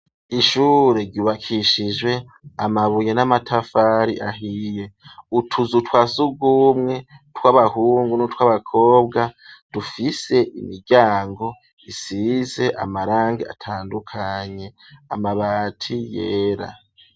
Ishure ryubakishijwe amabuye n'amatafari ahiye, utuzu twa sugumwe tw'abahungu n'utw'abakobwa dufise imiryango isize amarangi atandukanye, amabati yera.